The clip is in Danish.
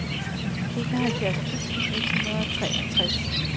enoghalvfjerds tusind et hundrede og treogtres